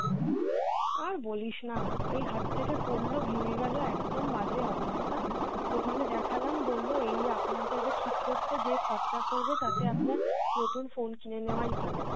আর বলিসনা এই হাত থেকে পড়লো ভেঙে গেলো, একদম বাজে অবস্থা দোকানে দেখালাম বললো এই আপনার যা যা ঠিক করতে যেই খরচা পড়বে তাতে আপনার নতুন phone কিনে নেওয়াই ভালো।